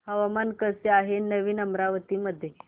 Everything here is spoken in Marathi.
हवामान कसे आहे नवीन अमरावती मध्ये